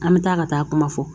An bɛ taa ka taa kuma fɔ